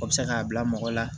O bɛ se k'a bila mɔgɔ la